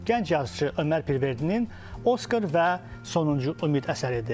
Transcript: Gənc yazıçı Ömər Pirverdinin Oskar və Sonuncu Ümid əsəridir.